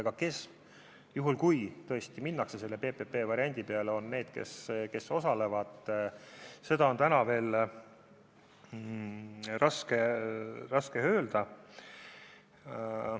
Aga kes, juhul kui tõesti minnakse selle PPP-variandi peale, on need, kes osalevad, seda on täna veel raske öelda.